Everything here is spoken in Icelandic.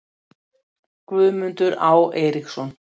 Guðmundur Á. Eiríksson